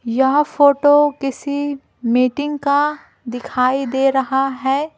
यह फोटो किसी मीटिंग का दिखाई दे रहा है।